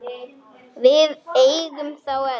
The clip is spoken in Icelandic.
Við eigum þá öll.